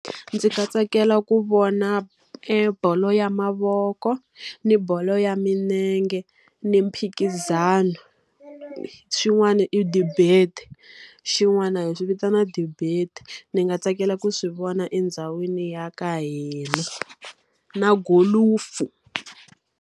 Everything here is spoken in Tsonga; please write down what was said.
Ndzi ta tsakela ku vona e bolo ya mavoko, ni bolo ya milenge, ni mphikizano, xin'wana i debate. Xin'wana hi swi vitana debate. Ni nga tsakela ku swi vona endhawini ya ka hina. Na gholufu.